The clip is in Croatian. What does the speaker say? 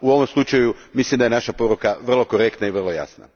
U ovom slučaju mislim da je naša poruka vrlo korektna i vrlo jasna.